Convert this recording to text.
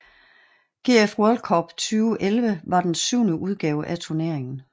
GF World Cup 2011 var den syvende udgave af turneringen